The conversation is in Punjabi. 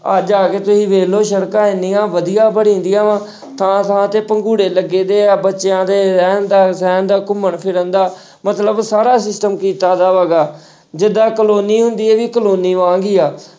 ਅੱਜ ਆ ਕੇ ਤੁਸੀਂ ਵੇਖ ਲਓ ਸੜਕਾਂ ਇੰਨੀਆਂ ਵਧੀਆ ਬਣਗੀਆਂ ਵਾਂ ਥਾਂ-ਥਾਂ ਤੇ ਪੰਘੂੜੇ ਲੱਗੇ ਹੋਏ ਆ ਬੱਚਿਆਂ ਦੇ ਰਹਿਣ ਦਾ, ਸਹਿਣ ਦਾ, ਘੁੰਮਣ ਫਿਰਨ ਦਾ ਮਤਲਬ ਸਾਰਾ system ਕੀਤਾ ਜਿੱਦਾਂ ਕਲੋਨੀ ਹੁੰਦੀ, ਇਹ ਵੀ ਕਲੋਨੀ ਵਾਂਗ ਹੀ ਆ।